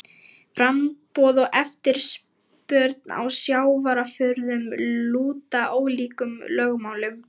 Framboð og eftirspurn á sjávarafurðum lúta ólíkum lögmálum.